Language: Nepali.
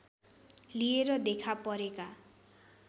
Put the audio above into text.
लिएर देखा परेका